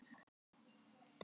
Tóti leit á klukkuna.